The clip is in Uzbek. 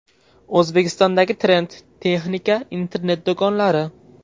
O‘zbekistondagi trend: texnika internet-do‘konlari.